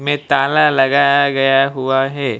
मे ताला लगाया गया हुआ है।